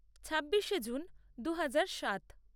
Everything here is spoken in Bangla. ছাব্বিশে জুন দু হাজার সাত